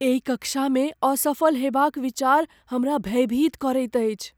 एहि कक्षामे असफल होयबाक विचार हमरा भयभीत करैत अछि।